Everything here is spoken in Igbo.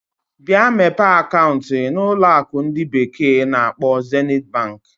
Bịa mepee akaụntụ na na ụlọ akụ ndi bekee na-akpo Zenit Bank.